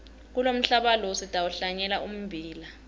kulomhlaba lo sitawuhlanyela ummbila